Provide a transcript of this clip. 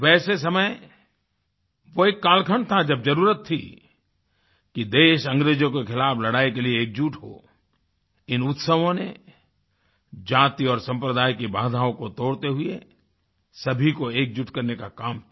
वैसे समय वो एक कालखंड था जब जरुरत थी कि देश अंग्रेजों के खिलाफ़ लड़ाई के लिए एकजुट हो इन उत्सवों ने जाति और सम्प्रदाय की बाधाओं को तोड़ते हुए सभी को एकजुट करने का काम किया